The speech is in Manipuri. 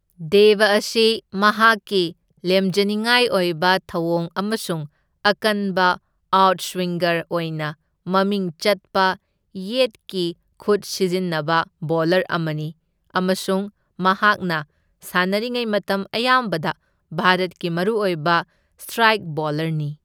ꯗꯦꯕ ꯑꯁꯤ ꯃꯍꯥꯛꯀꯤ ꯂꯦꯝꯖꯅꯤꯡꯉꯥꯏ ꯑꯣꯏꯕ ꯊꯧꯑꯣꯡ ꯑꯃꯁꯨꯡ ꯑꯀꯟꯕ ꯑꯥꯎꯠꯁ꯭ꯋꯤꯡꯒꯔ ꯑꯣꯢꯅ ꯃꯃꯤꯡ ꯆꯠꯄ ꯌꯦꯠꯀꯤ ꯈꯨꯠ ꯁꯤꯖꯤꯟꯅꯕ ꯕꯣꯂꯔ ꯑꯃꯅꯤ ꯑꯃꯁꯨꯡ ꯃꯍꯥꯛꯅ ꯁꯥꯅꯔꯤꯉꯩ ꯃꯇꯝ ꯑꯌꯥꯝꯕꯗ ꯚꯥꯔꯠꯀꯤ ꯃꯔꯨꯑꯣꯢꯕ ꯁꯇ꯭ꯔꯥꯢꯛ ꯕꯣꯂꯔꯅꯤ꯫